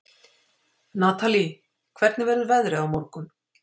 Natalie, hvernig verður veðrið á morgun?